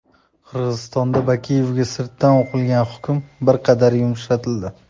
Qirg‘izistonda Bakiyevga sirtdan o‘qilgan hukm bir qadar yumshatildi.